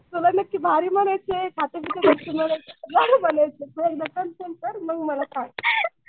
तुला नक्की भारी म्हणायचंय खात्या पित्या घरची काय म्हणायचंय कर मग मला सांग.